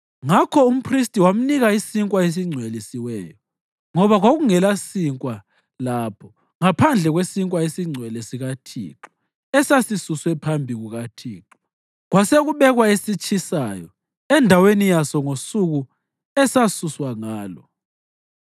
Ngakho umphristi wamnika isinkwa esingcwelisiweyo ngoba kwakungelasinkwa lapho ngaphandle kwesinkwa esiNgcwele sikaThixo esasisuswe phambi kukaThixo kwasekubekwa esitshisayo endaweni yaso ngosuku esasuswa ngalo.